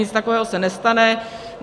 Nic takového se nestane.